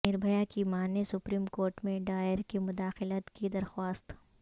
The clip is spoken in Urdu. نربھیا کی ماں نے سپریم کورٹ میں دائر کی مداخلت کی درخواست